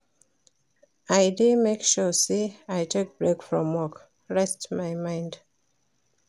I dey make sure sey I take break from work, rest my mind.